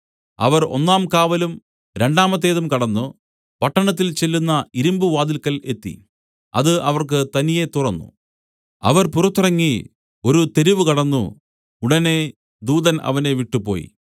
അവർ ഒന്നാം കാവലും രണ്ടാമത്തേതും കടന്നു പട്ടണത്തിൽ ചെല്ലുന്ന ഇരുമ്പുവാതിൽക്കൽ എത്തി അത് അവർക്ക് തനിയെ തുറന്നു അവർ പുറത്തിറങ്ങി ഒരു തെരുവ് കടന്നു ഉടനെ ദൂതൻ അവനെ വിട്ടുപോയി